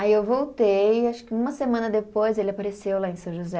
Aí eu voltei, acho que uma semana depois ele apareceu lá em São José.